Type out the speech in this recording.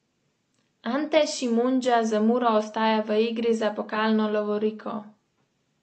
Gre za odlok, ki se med drugim nanaša na zaračunavanje odvajanja deževnice s streh v kanalizacijo.